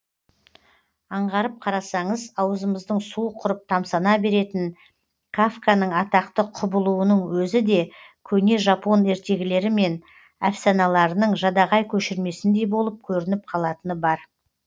аңғарып қарасаңыз аузымыздың суы құрып тамсана беретін кафканың атақты құбылуының өзі де көне жапон ертегілері мен әфсаналарының жадағай көшірмесіндей болып көрініп қалатыны бар